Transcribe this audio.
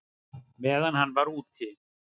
Meðan hann var úti?